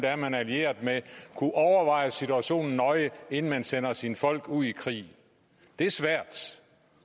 er man er allieret med kunne overveje situationen nøje inden man sender sine folk ud i krig det er svært